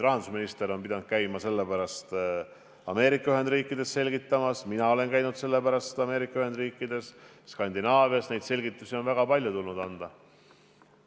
Rahandusminister on pidanud käima sellepärast Ameerika Ühendriikides asja selgitamas, mina olen käinud sellepärast Ameerika Ühendriikides ja Skandinaavias – neid selgitusi on väga palju tulnud anda.